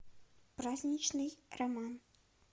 праздничный роман